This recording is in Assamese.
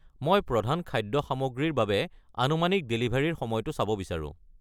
মই প্ৰধান খাদ্য সামগ্ৰী ৰ বাবে আনুমানিক ডেলিভাৰীৰ সময়টো চাব বিচাৰোঁ।